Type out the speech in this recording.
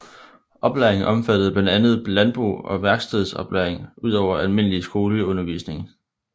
Oplæringen omfattede blandt andet landbrug og værkstedsoplæring ud over almindelig skoleundervisning